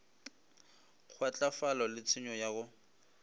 kgwahlafalo le tshenyo ya go